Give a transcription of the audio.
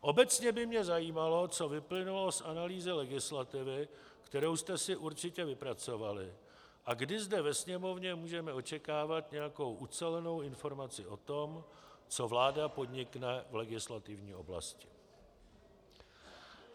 Obecně by mě zajímalo, co vyplynulo z analýzy legislativy, kterou jste si určitě vypracovali, a kdy zde ve Sněmovně můžeme očekávat nějakou ucelenou informaci o tom, co vláda podnikne v legislativní oblasti.